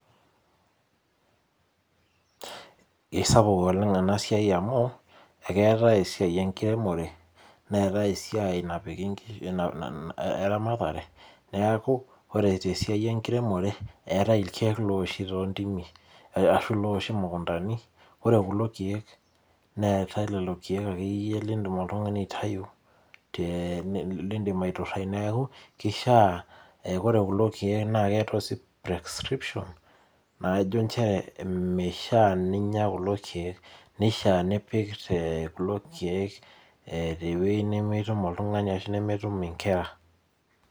Kisapuk oleng enasiai amu, ekeetae esiai enkiremore, neetae esiai napiki eramatare, neeku ore tesiai enkiremore, eetae irkeek lowoshi tontimi. Ashu lowoshi mukuntani, ore kulo keek neetae lolo keek akeyie yie loidim oltung'ani aitayu nidim aiturrai. Neeku, kishaa ore kulo keek keeta oshi prescription najo njere mishaa ninya kulo keek, nishaa nipik te kulo keek tewei nemetum oltung'ani ashu nemetum inkera.